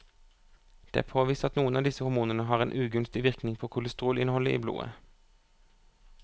Det er påvist at noen av disse hormonene har en ugunstig virkning på kolesterolinnholdet i blodet.